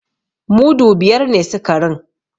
Mudu biyar ne sikarin.